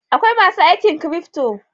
Akwai masu aikin cryfto.